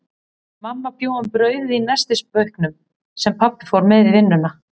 Mamma bjó um brauðið í nestisbauknum, sem pabbi fór með í vinnuna.